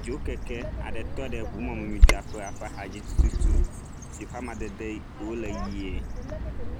Dzokeke aɖe tɔ ɖe ŋumɔmidzraƒea ƒe axadzi tututu si ƒe amadede wole ʋie.